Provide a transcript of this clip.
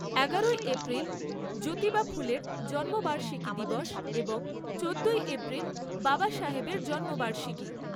এগারোই এপ্রিল জ্যোতিবা ফুলের জন্মবার্ষিকী দিবস এবং চোদ্দোই এপ্রিল বাবাসাহেবের জন্মবার্ষিকী।